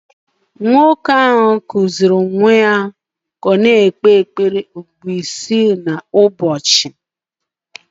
Nwoke ahụ kụziiri nwa ya ka ọ na-ekpe ekpere ugboro isii kwa ụbọchị